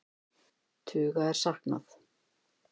Tuga er saknað